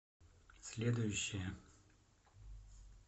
следующая